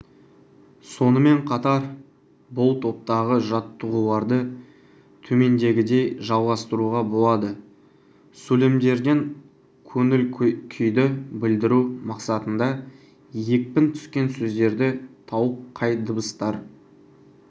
сонымен қатар бұл топтағы жаттығуларды төмендегідей жалғастыруға болады сөйлемдерден көңіл-күйді білдіру мақсатында екпін түскен сөздерді тауып қай дыбыстар